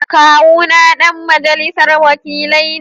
Kawuna ɗan majalisar wakilai ne